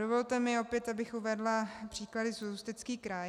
Dovolte mi opět, abych uvedla příklady za Ústecký kraj.